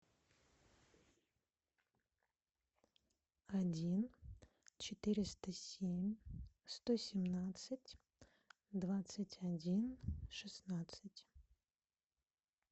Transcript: один четыреста семь сто семнадцать двадцать один шестнадцать